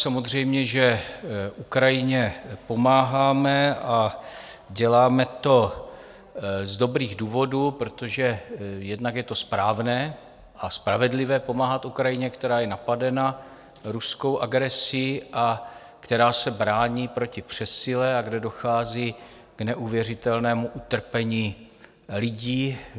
Samozřejmě že Ukrajině pomáháme a děláme to z dobrých důvodů, protože jednak je to správné a spravedlivé pomáhat Ukrajině, která je napadena ruskou agresí a která se brání proti přesile a kde dochází k neuvěřitelnému utrpení lidí.